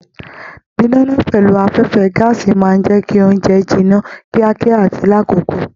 Didana pẹlú afẹfẹ gàásí máa n jẹ kí ounjẹ jìnnà kíákíá àti l'akoko.